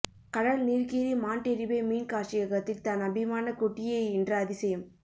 கடல் நீர்க்கீரி மாண்டெர்ரிபே மீன் காட்சியகத்தில் தன் அபிமான குட்டியை ஈன்ற அதிசயம்